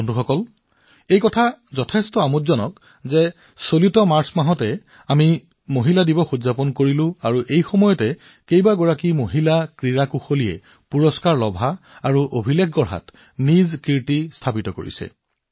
বন্ধুসকল এয়া আমোদজনক যে মাৰ্চ মাহত যেতিয়া আমি মহিলা দিৱস উদযাপন কৰি আছিলো সেই সময়তে বহুতো মহিলা খেলুৱৈয়ে পদক জয় কৰাৰ লগতে অভিলেখো গঢ়িছে